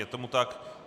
Je tomu tak.